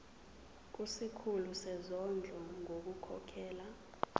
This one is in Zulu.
kusikhulu sezondlo ngokukhokhela